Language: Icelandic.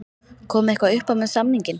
Kom eitthvað uppá með samninginn?